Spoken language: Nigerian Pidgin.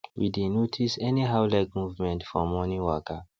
we dey notice anyhow leg movement for morning waka